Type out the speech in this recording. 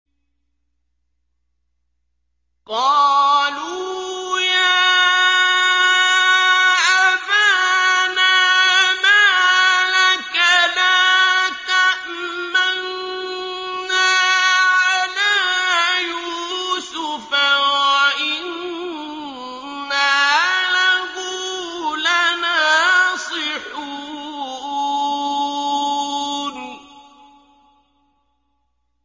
قَالُوا يَا أَبَانَا مَا لَكَ لَا تَأْمَنَّا عَلَىٰ يُوسُفَ وَإِنَّا لَهُ لَنَاصِحُونَ